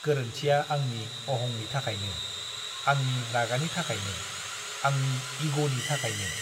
गोरोन्थिया आंनि अहंनि थाखायनो, आंनि रागानि थाखायनो, आंनि इग'नि थाखायनो।